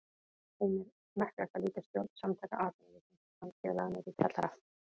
Heimir: Smekklegt að líkja stjórn Samtaka atvinnulífsins og hans félaga niðri í kjallara?